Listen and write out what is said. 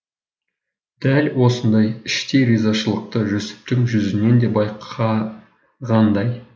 дәл осындай іштей ризашылықты жүсіптің жүзінен де байқағандай